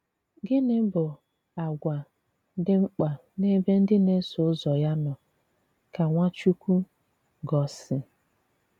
Gịnị̀ bụ àgwà dị mkpa n’ebe ndị na-eso ụzọ̀ ya nọ̀ ka Nwachukwu gọ̀sì?